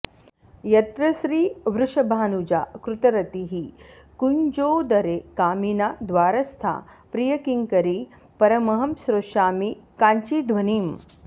यत्र श्रीवृषभानुजा कृतरतिः कुञ्जोदरे कामिना द्वारस्था प्रियकिङ्करी परमहं श्रोष्यामि काञ्चिध्वनिम्